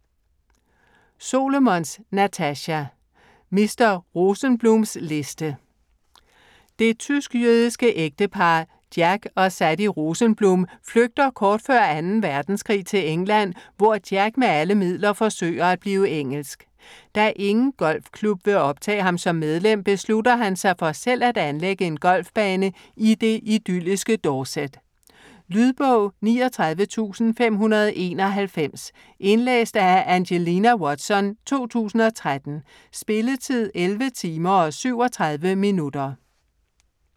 Solomons, Natasha: Mr. Rosenblums liste Det tysk-jødiske ægtepar Jack og Sadie Rosenblum flygter kort før 2. verdenskrig til England, hvor Jack med alle midler forsøger at blive engelsk. Da ingen golfklub vil optage ham som medlem, beslutter han sig for selv at anlægge en golfbane i det idylliske Dorset. Lydbog 39591 Indlæst af Angelina Watson, 2013. Spilletid: 11 timer, 37 minutter.